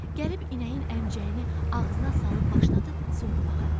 Gəlib inəyin əmcəyinə ağzına salıb başladı sovurmağa.